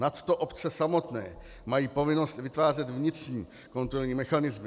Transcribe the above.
Nadto obce samotné mají povinnost vytvářet vnitřní kontrolní mechanismy.